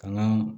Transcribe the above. Kan ka